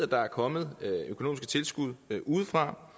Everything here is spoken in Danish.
der er kommet økonomiske tilskud udefra